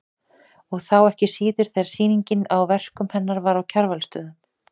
Og þá ekki síður þegar sýningin á verkum hennar var á Kjarvalsstöðum.